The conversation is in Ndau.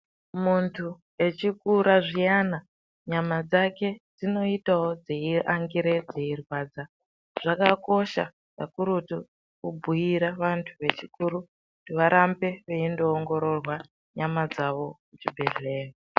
Muntu echikura zviyana nyama dzake dzinoitawo dzeiangire dzeirwadza zvakakosha kakurutu kubhuira vantu vechikuru kuti varambe veindoongororwa nyama dzawo kuchibhehleya.